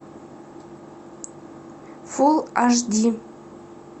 фул аш ди